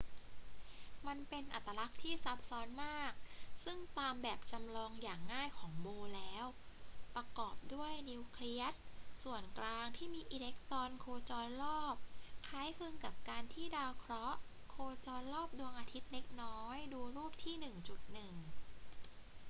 มันเป็นอัตลักษณ์ที่ซับซ้อนมาก ซึ่งตามแบบจำลองอย่างง่ายของ bohr แล้ว ประกอบด้วยนิวเคลียสส่วนกลางที่มีอิเล็กตรอนโคจรรอบ คล้ายคลึงกับการที่ดาวเคราะห์โคจรรอบดวงอาทิตย์เล็กน้อย ดูรูปที่ 1.1